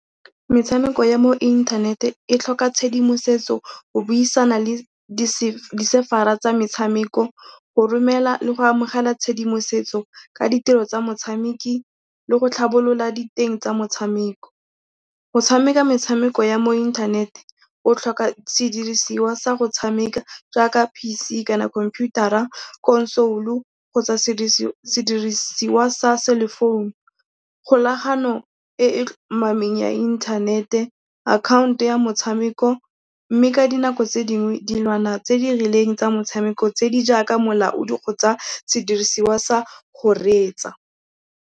Metshameko ya mo inthanete e tlhoka tshedimosetso, go buisana le di-server-a tsa metshameko, go romela le go amogela tshedimosetso ka ditiro tsa motshameki le go tlhabolola diteng tsa motshameko. Go tshameka metshameko ya mo inthanete o tlhoka sediriswa sa go tshameka jaaka PC kana khomputara, console kgotsa sediriswa sa cellphone, kgolagano e e tlhomameng ya inthanete, account ya motshameko, mme ka dinako tse dingwe dilwana tse di rileng tsa motshameko tse di jaaka molaodi kgotsa sediriswa sa go reetsa.